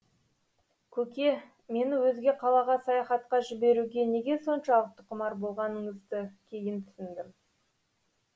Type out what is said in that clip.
көке мені өзге қалаға саяхатқа жіберуге неге соншалықты құмар болғаныңызды кейін түсіндім